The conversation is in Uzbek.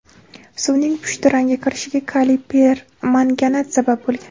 Suvning pushti rangga kirishiga kaliy permanganat sabab bo‘lgan.